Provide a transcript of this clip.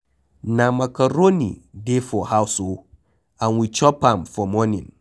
Na macaroni dey for house oo and we chop am for morning.